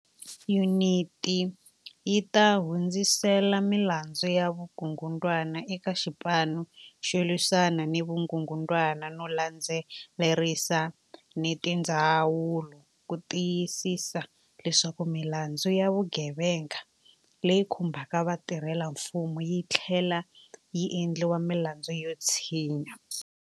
Yuniti yi ta hundzisela milandzu ya vukungundwani eka Xipanu xo Lwisana ni Vukungundwani no landze lerisa ni tindzawulo ku ti yisisa leswaku milandzu ya vugevenga leyi khumbaka vatirhelamfumo yi tlhlela yi endliwa milandzu yo tshinya.